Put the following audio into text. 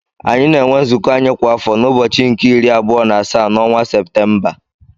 Anyị na-enwe nzụkọ anyị kwa afọ na ụbọchị nke iri abụọ n'asaa n'ọnwa Séptémba